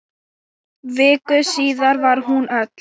Viku síðar var hún öll.